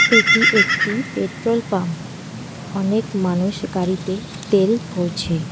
এটি একটি petrol pump অনেক মানুষ গাড়িতে তেল ভরছে।